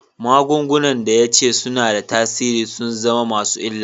Magungunan da ya ce suna da tasiri sun zama masu illa.